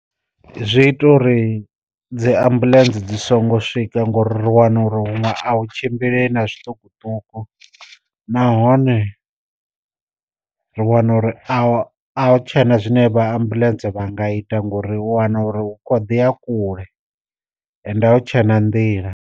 Zwi ita uri dzi ambuḽentse dzi songo swika ngori ri wana uri huṅwe a hu tshimbilei na zwiṱukuṱuku nahone ri wana uri a a hu tshena zwine vha ambuḽentse vha nga ita ngori wana uri u khoḓi a kule ende hu tshe na nḓila.